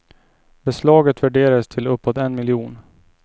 Beslaget värderas till uppåt en miljon.